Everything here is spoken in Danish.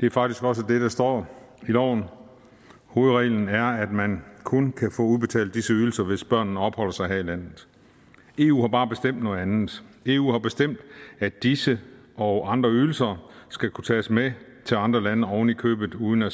det er faktisk også det der står i loven hovedreglen er at man kun kan få udbetalt disse ydelser hvis børnene opholder sig her i landet eu har bare bestemt noget andet eu har bestemt at disse og andre ydelser skal kunne tages med til andre lande oven i købet uden at